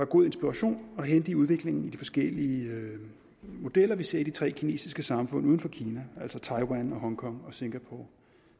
god inspiration at hente i udviklingen i de forskellige modeller vi ser i de tre kinesiske samfund uden for kina altså taiwan hongkong og singapore